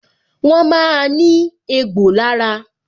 Wọn máa ní egbò lára